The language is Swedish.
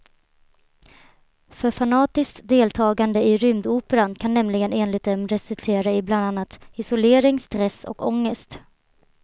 För fanatiskt deltagande i rymdoperan kan nämligen enligt dem resultera i bland annat isolering, stress och ångest.